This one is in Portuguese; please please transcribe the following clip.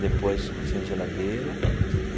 Depois, oficina de geladeira.